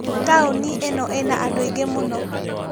Taũni ĩno ĩna andũ aingĩ mũno